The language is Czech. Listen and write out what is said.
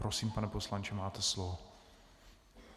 Prosím, pane poslanče, máte slovo.